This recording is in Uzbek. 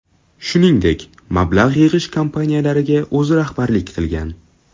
Shuningdek, mablag‘ yig‘ish kompaniyalariga o‘zi rahbarlik qilgan.